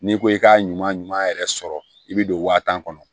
N'i ko i k'a ɲuman ɲuman yɛrɛ sɔrɔ i bɛ don wa tan kɔnɔ